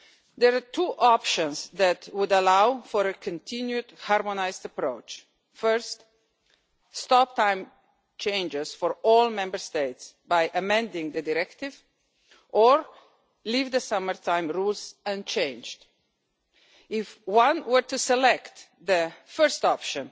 There are two options that would allow for a continued harmonised approach stop time changes for all Member States by amending the directive, or leave the summer time rules unchanged. If one were to select the first option,